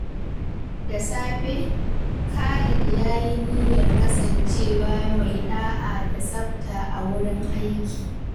Da safe, Khalid ya yi niyyar kasancewa mai da’a da tsafta a wurin aiki.